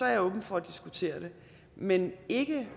jeg åben for at diskutere det men ikke